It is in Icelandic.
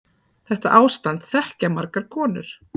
Þetta ástand þekkja margar konur